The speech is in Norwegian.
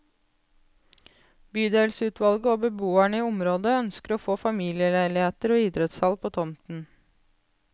Bydelsutvalget og beboerne i området ønsker å få familieleiligheter og idrettshall på tomten.